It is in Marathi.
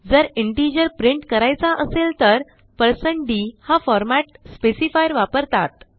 जर इंटिजर प्रिंट करायचा असेल तर160d हा फॉर्मॅट स्पेसिफायर वापरतात